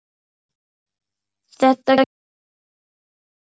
Þetta gangi ekki upp.